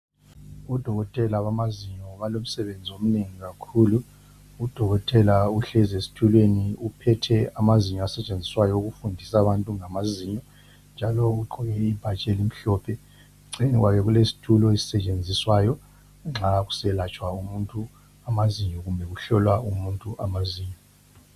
Odokotela bamazinyo balomsebenzi omnengi kakhulu. Udokotela uhlezi esitulweni uphethe amazinyo asetshenziswayo ukufundisa abantu ngamazinyo njalo ugqoke ibhatshi elimhlophe. Eceleni kwakhe kulesitulo esisetshenziswayo nxa kuselatshwa umuntu amazinyo kumbe kuhlolwa umuntu amazinyo.